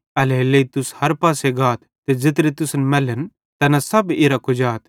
एल्हेरेलेइ तुस हर पासे गाथ ते ज़ेत्रे तुसन मैलतन तैना सब इरां कुजाथ